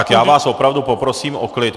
Tak já vás opravdu poprosím o klid.